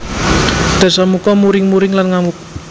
Dasamuka muring muring lan ngamuk